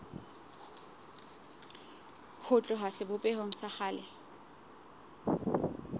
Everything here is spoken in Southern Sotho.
ho tloha sebopehong sa kgale